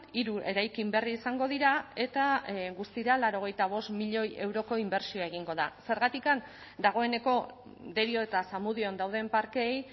hiru eraikin berri izango dira eta guztira laurogeita bost milioi euroko inbertsioa egingo da zergatik dagoeneko derio eta zamudion dauden parkeei